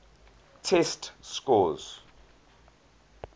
test scores